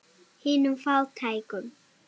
Hinum fátæku.